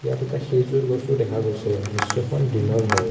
ইয়াত এটা খেজুৰ গছো দেখা গৈছে দৃশ্যখন দিনৰ হয়।